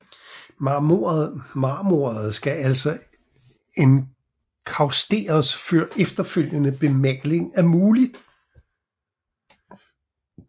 Marmoret skal altså enkausteres før efterfølgende bemaling er mulig